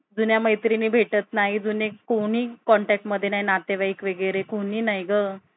जुन्या मैत्रिणी भेटत नाही. जुने कोणी contact मध्ये नाही. नातेवाईक वगैरे कोणी नाही गं.